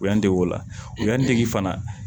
U y'an dege o la o y'an dege fana